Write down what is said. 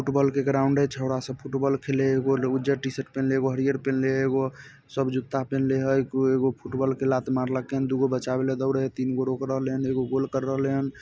Football का ground है छोरा सा फुटबॉल खेले ओ उजड्ड टीशर्ट पहने वो हरी-हरी पहने वो सब जुता पहने है वो एवु फुटबॉल के लात मार लेकेन लेका लोग को बचा वेल दोड है तीन लोग ओर है जो गोल कर रहे है।